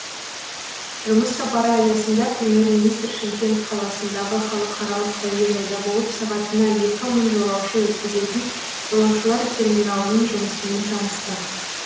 жұмыс сапары аясында премьер министр шымкент қаласындағы халықаралық әуежайда болып сағатына екі мың жолаушы өткізетін жолаушылар терминалының жұмысымен танысты